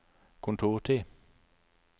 kontortid